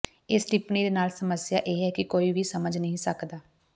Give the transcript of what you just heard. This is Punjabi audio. ਇਸ ਟਿੱਪਣੀ ਦੇ ਨਾਲ ਸਮੱਸਿਆ ਇਹ ਹੈ ਕਿ ਕੋਈ ਵੀ ਸਮਝ ਨਹੀਂ ਸਕਦਾ